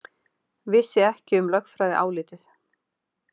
Vissi ekki um lögfræðiálitið